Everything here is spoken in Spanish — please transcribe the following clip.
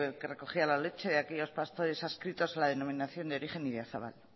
que recogía la leche de aquellos pastores adscritos a la denominación de origen idiazabal